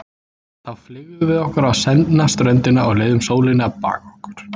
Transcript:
Þá fleygðum við okkur á sendna ströndina og leyfðum sólinni að baka okkur.